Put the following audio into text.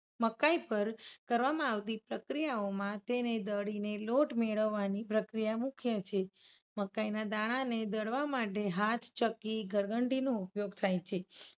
મકાઇ પર કરવામાં આવતી પ્રક્રિયાઓમાં તેને દળીને લોટ મેળવવાની પ્રક્રિયા મુખ્ય છે. મકાઇના દાણાને દળવા માટે હાથ ચક્કી ઘરઘંટીનો ઉપયોગ થાય છે.